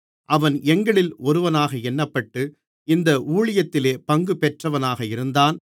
அவன் எங்களில் ஒருவனாக எண்ணப்பட்டு இந்த ஊழியத்திலே பங்குபெற்றவனாக இருந்தான்